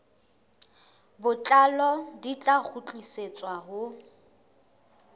botlalo di tla kgutlisetswa ho